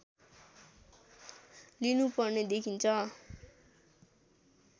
लिनु पर्ने देखिन्छ